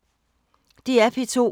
DR P2